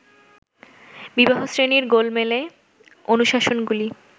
বিবাহ-শ্রেণীর গোলমেলে অনুশাসনগুলি